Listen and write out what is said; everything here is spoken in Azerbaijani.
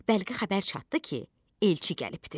Bəlkə xəbər çatdı ki, elçi gəlibdir.